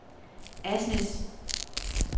Asnæs